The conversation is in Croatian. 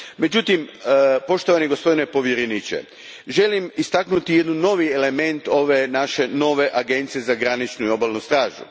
Međutim, poštovani gospodine povjereniče, želim istaknuti novi element ove nove Agencije za graničnu i obalnu stražu.